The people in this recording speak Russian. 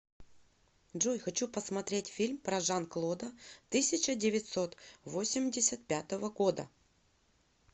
джой хочу посмотреть фильм про жан клода тысяча девятьсот восемьдесят пятого года